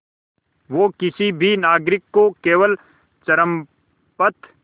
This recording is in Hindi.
वो किसी भी नागरिक को केवल चरमपंथ